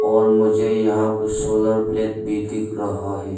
और मुझे यहां कुछ सोलर प्लेट भी दिख रहा है।